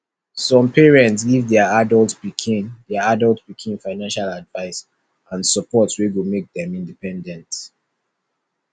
some parents give their adult pikin their adult pikin financial advice and support wey go make dem independent